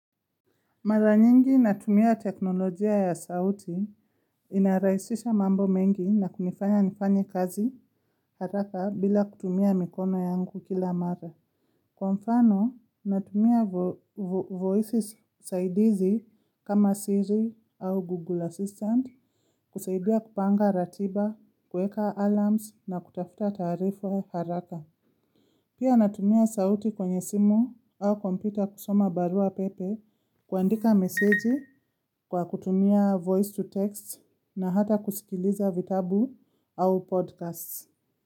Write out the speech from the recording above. Mara nyingi natumia teknolojia ya sauti, inarahisisha mambo mengi na kunifanya nifanye kazi haraka bila kutumia mikono yangu kila mara. Kwa mfano, natumia vo vo voices saidizi kama siri au Google Assistant, kusaidia kupanga ratiba, kueka alarms na kutafuta taarifu haraka. Pia natumia sauti kwenye simu au kompyuta kusoma barua pepe kuandika meseji kwa kutumia voice to text na hata kusikiliza vitabu au podcasts.